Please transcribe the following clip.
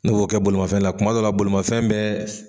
Ne b'o kɛ bolimafɛn la kuma dɔw bolimafɛn bɛ